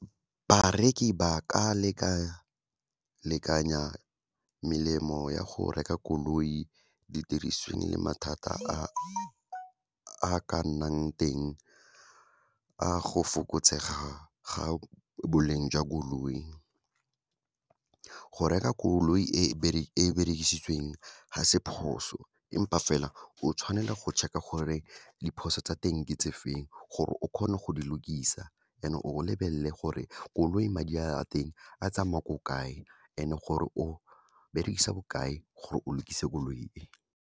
Bareki ba ka lekalekanya melemo ya go reka koloi, didirisweng le mathata a ka nnang teng, a go fokotsega ga boleng jwa koloi. Go reka koloi e berekisitsweng ga se phoso empa fela, o tshwanela go check-a gore diphoso tsa teng ke tse feng gore o kgone go di lokisa, and-e o lebelele gore koloi madi a, a teng a tsamaya ko kae, and-e gore o berekisa bokae gore o lokise koloi e.